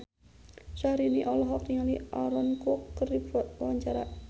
Syahrini olohok ningali Aaron Kwok keur diwawancara